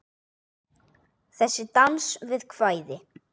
Þessi dans við kvæði.